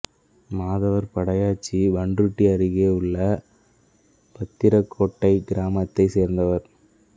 மாதவர் படையாச்சி பண்ருட்டி அருகே உள்ள பத்திரக்கோட்டை கிராமத்தைச் சேர்ந்தவர்